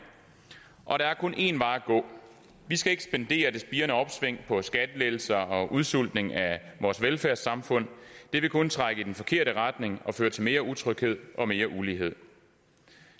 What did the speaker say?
der er kun en vej at gå vi skal ikke spendere det spirende opsving på skattelettelser og udsultning af vores velfærdssamfund det vil kun trække i den forkerte retning og føre til mere utryghed og mere ulighed